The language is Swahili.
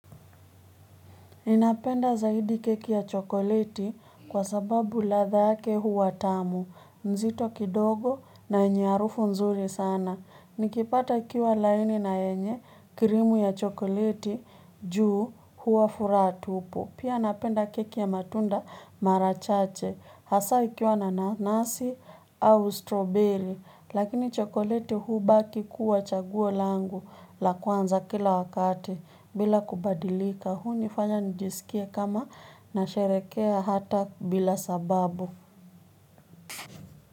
Ninapenda zaidi keki ya chokoleti kwa sababu ladha yake huwa tamu, nzito kidogo na yenye harufu nzuri sana. Nikipata ikiwa laini na yenye krimu ya chokoleti juu, huwa furaha tupu. Pia napenda keki ya matunda mara chache, hasa ikiwa na nanasi au strawberry, lakini chokoleti hubaki kuwa chaguo langu la kwanza kila wakati bila kubadilika. Huni fanya nijisikie kama na sherehekea hata bila sababu.